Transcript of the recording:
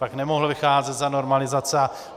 Pak nemohl vycházet za normalizace.